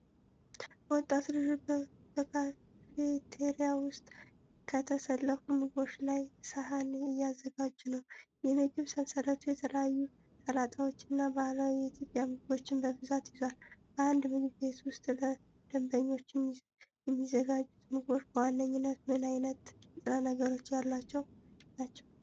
ወጣት ልጆች በካፌቴሪያ ውስጥ ከተሰለፉ ምግቦች ላይ ሰሃን እያዘጋጁ ነው። የምግብ ሰንሰለቱ የተለያዩ ሰላጣዎችንና ባህላዊ የኢትዮጵያ ምግቦችን በብዛት ይዟል። በአንድ ምግብ ቤት ውስጥ ለደንበኞች የሚዘጋጁት ምግቦች በዋነኝነት ምን ዓይነት ንጥረ ነገሮች ያሏቸው ናቸው?